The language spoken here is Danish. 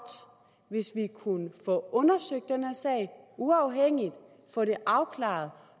hvis vi kunne få undersøgt den her sag uafhængigt få det afklaret